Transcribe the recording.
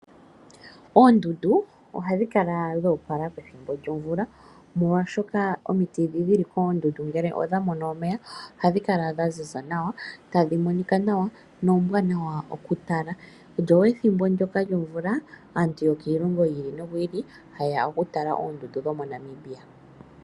Oondundu ohadhi kala dhoopala pethimbo lyomvula molwaashoka omiti dhi dhili koondundu ngele odha mono omeya ohadhi kala dha ziza nawa tadhi monika nawa noombwanawa oku tala, lyo ethimbo lyoka lyomvula aantu yokiilongo yi ili noyi ili ha yeya oku tala oondundu dhomo Namibia